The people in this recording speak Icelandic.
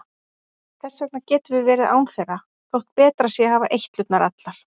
Þess vegna getum við verið án þeirra þótt betra sé að hafa eitlurnar allar.